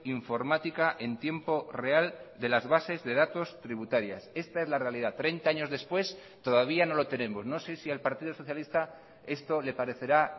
informática en tiempo real de las bases de datos tributarias esta es la realidad treinta años después todavía no lo tenemos no sé si al partido socialista esto le parecerá